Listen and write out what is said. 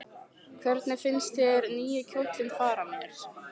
Hvernig finnst þér nýi kjóllinn fara mér?